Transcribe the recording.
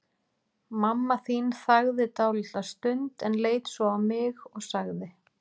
Mamma þín þagði dálitla stund, en leit svo á mig og sagði